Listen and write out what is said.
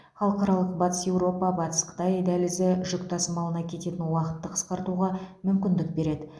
халықаралық батыс еуропа батыс қытай дәлізі жүк тасымалына кететін уақытты қысқартуға мүмкіндік береді